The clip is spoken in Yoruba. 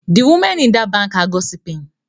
The women in that bank are gossiping